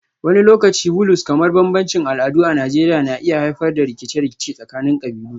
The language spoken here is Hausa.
Wani lokaci Vulues kamar bambancin al'adu a Najeriya na iya haifar da rikice-rikice tsakanin kabilu